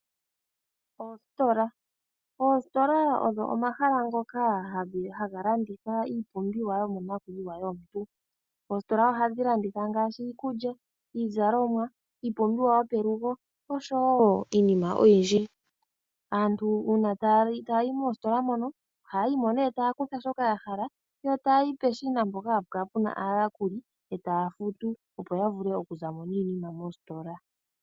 Oositola, oositola odho omahala ngoka haga landitha iipumbiwa yomonakuyiwa yomuntu. Oositola ohadhi landitha ngaashi iikulya, iizalomwa, iipumbiwa yopelugo osho woo iinima oyindji. Aantu uuna taya yi moositola mono ohayayi mo nee taya kutha shoka ya hala yo taya yi peshina mpoka hapu kala puna aayakuli etaya futu opo ya vule okuzamo niinima moositola.